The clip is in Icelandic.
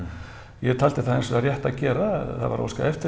ég taldi það hins vegar rétt að gera það var óskað eftir